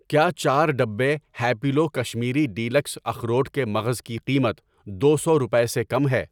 کیا چار ڈبے ہیپیلو کشمیری ڈیلکس اخروٹ کے مغز کی قیمت دو سو روپے سے کم ہے؟